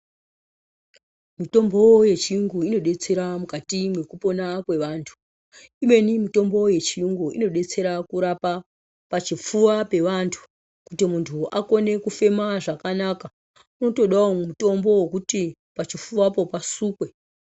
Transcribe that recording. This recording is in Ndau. Mutombo yechiyungu inodetsera mukati mwekupona kwevantu ibeni mutombo yechiyungu inodetsera kurapa pachifuwa pevantu kuti muntu akone kufema zvakanaka unotodawo mutombo wokuti pachifuwapo pasukwe.